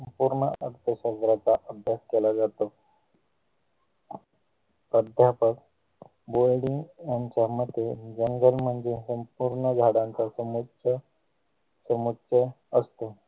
पूर्ण अभ्य संग्रहाचा अभ्यास केला जातो अध्यापक वडील यांच्यामध्ये जंगल मध्ये संपूर्ण झाडांचा समुच्चय समुच्चय असतो